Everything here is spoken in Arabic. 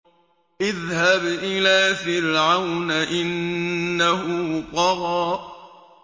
اذْهَبْ إِلَىٰ فِرْعَوْنَ إِنَّهُ طَغَىٰ